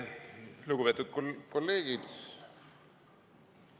Lugupeetud kolleegid!